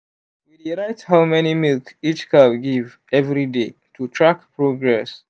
we dey write how many milk each cow give every day to track progress.